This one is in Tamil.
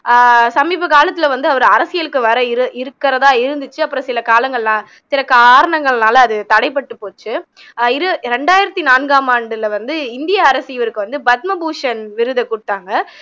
ஆஹ் சமீப காலத்துல வந்து அவரு அரசியலுக்கு வர இரு இருக்குறதா இருந்துச்சு அப்பறம் சில காலங்கள் சில காரணங்கள்னால அது தடைபட்டு போச்சு இது ரெண்டாயிரத்தி நான்காம் ஆண்டுல வந்து இந்திய அரசு இவருக்கு வந்து பத்மபூஷண் விருது கொடுத்தாங்க